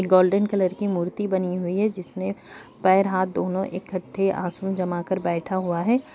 Golden colour की मूर्ति बनी हुई है जिसने पैर हाथ दोनों एकठे आसन जमा कर बैठा हुआ है।